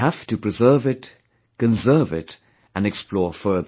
We have to preserve it, conserve it & explore further